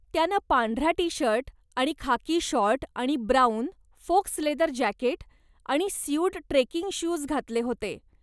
त्यानं पांढरा T shirt आणि खाकी शॉर्ट आणि ब्राऊन, फोक्स लेदर जॅकेट आणि स्यूड ट्रेकिंग शूज घातले होते.